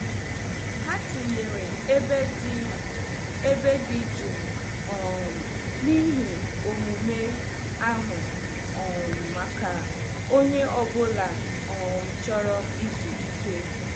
Ha tinyere ebe dị ebe dị jụụ um na ihe omume ahụ um maka onye ọ bụla um chọrọ izu ike.